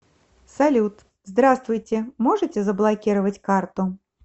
салют здравствуйте можете заблокировать карту